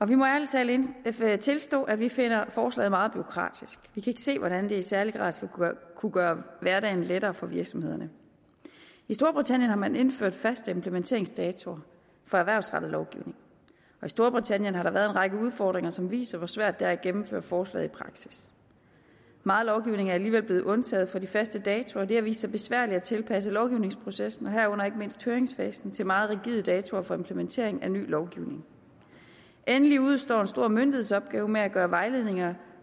vi må ærlig talt tilstå at vi finder forslaget meget bureaukratisk vi kan ikke se hvordan det i særlig grad skulle kunne gøre hverdagen lettere for virksomhederne i storbritannien har man indført faste implementeringsdatoer for erhvervsrettet lovgivning og i storbritannien har der været en række udfordringer som viser hvor svært det er at gennemføre forslaget i praksis meget lovgivning er alligevel blevet undtaget fra de faste datoer og det har vist sig besværligt at tilpasse lovgivningsprocessen herunder ikke mindst høringsfasen til meget rigide datoer for implementering af ny lovgivning endelig udestår en stor myndighedsopgave med at gøre vejledninger